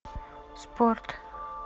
спорт